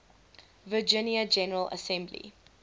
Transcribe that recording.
virginia general assembly